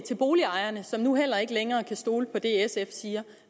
til boligejerne som nu heller ikke længere kan stole på det sf siger